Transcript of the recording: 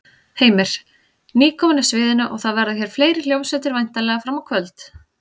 Heimir: Nýkomin af sviðinu og það verða hér fleiri hljómsveitir væntanlega fram á kvöld?